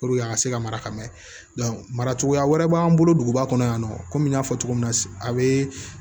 a ka se ka mara ka mɛn mara cogoya wɛrɛ b'an bolo duguba kɔnɔ yan nɔ komi n y'a fɔ cogo min na a bee